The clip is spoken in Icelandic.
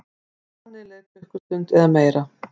Þannig leið klukkustund eða meira.